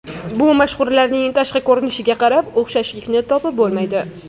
Bu mashhurlarning tashqi ko‘rinishiga qarab o‘xshashlikni topib bo‘lmaydi.